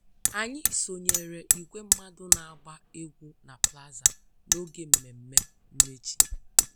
Anyị sonyeere igwe mmadụ na-agba egwu na plaza n'oge mmemme mmechi